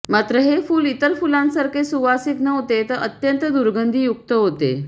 मात्र हे फुल इतर फुलांसारखे सुवासिक नव्हते तर अत्यंत दुर्गंधीयुक्त होते